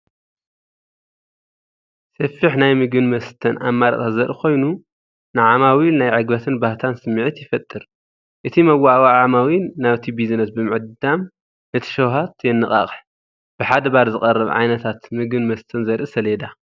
ሰፊሕ ናይ መግብን መስተ ኣማራጺታት ዘርኢ ኮይኑ፡ ንዓማዊል ናይ ዕግበትን ባህታን ስምዒት ይፈጥር። እቲ መወዓውዒ ዓማዊል ናብቲ ቢዝነስ ብምዕዳም ነቲ ሸውሃት የነቓቕሕ። ብሓደ ባር ዝቐርብ ዓይነታት ምግብን መስተታትን ዘርኢ ሰሌዳ።